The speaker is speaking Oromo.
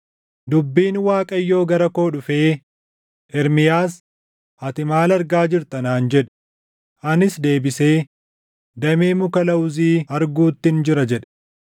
Dubbiin Waaqayyoo gara koo dhufee, “Ermiyaas, ati maal argaa jirta?” naan jedhe. Anis deebisee, “Damee muka lawuzii arguuttin jira” jedhe.